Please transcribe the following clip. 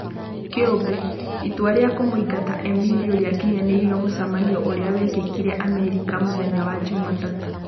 (Kĩũmbe) Itua rĩa kũmũingata Emilio rĩa-kinyanĩirio mũcemanioinĩ ũrĩa wekĩkire Amerika mũthenya wa Jumatatũ.